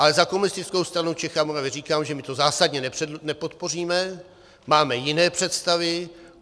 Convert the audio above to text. Ale za Komunistickou stranu Čech a Moravy říkám, že my to zásadně nepodpoříme, máme jiné představy.